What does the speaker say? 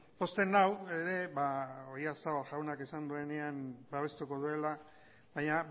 pozten nau ere oyarzabal jaunak esan duenean babestuko duela baina